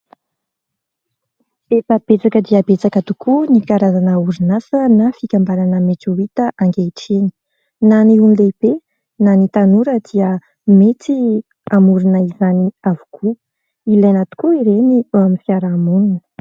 efa betsaka dia betsaka tokoa ny karazana orinasa na fikambanana mety ho hita ankehitriny, na ny ho an'ny lehibe na ny tanora dia mety hanorina izany avokoa ;ilaina tokoa ireny eo amin'ny fiaraha-monina